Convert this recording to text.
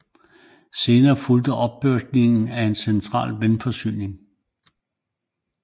Senere fulgte opbygningen af en central vandforsyning